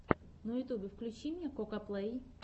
на ютьюбе включи мне кокаплей